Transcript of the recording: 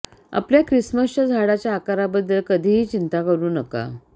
आपल्या ख्रिसमसच्या झाडाच्या आकाराबद्दल कधीही चिंता करू नका